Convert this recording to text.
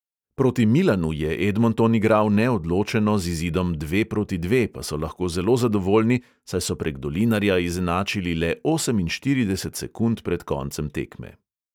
Proti milanu je edmonton igral neodločeno, z izidom dve proti dve pa so lahko zelo zadovoljni, saj so prek dolinarja izenačili le oseminštirideset sekund pred koncem tekme.